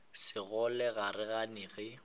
sekgole ga re gane ge